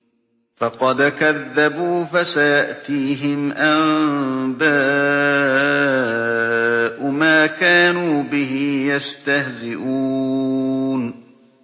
فَقَدْ كَذَّبُوا فَسَيَأْتِيهِمْ أَنبَاءُ مَا كَانُوا بِهِ يَسْتَهْزِئُونَ